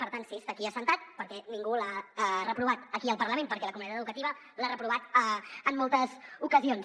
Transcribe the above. per tant sí està aquí assegut perquè ningú l’ha reprovat aquí al parlament perquè la comunitat educativa l’ha reprovat en moltes ocasions